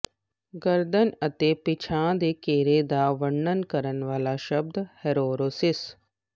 ਗਰਦਨ ਅਤੇ ਪਿਛਾਂਹ ਦੇ ਘੇਰਾ ਦਾ ਵਰਣਨ ਕਰਨ ਵਾਲਾ ਸ਼ਬਦ ਹੈਰੋਰੋਸੋਸਿਸ